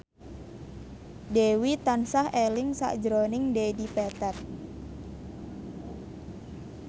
Dewi tansah eling sakjroning Dedi Petet